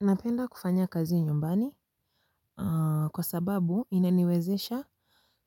Napenda kufanya kazi nyumbani kwa sababu inaniwezesha